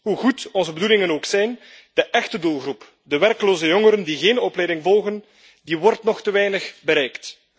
Hoe goed onze bedoelingen ook zijn, de echte doelgroep de werkloze jongeren die geen opleiding volgen wordt nog te weinig bereikt.